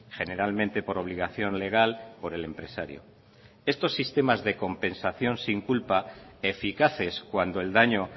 generalmente por obligación legal por el empresario estos sistemas de compensación sin culpa eficaces cuando el daño